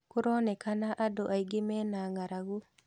Kũronekana andũ angĩ mena ngaragũ